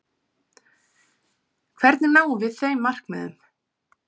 Hvernig náum við þeim markmiðum?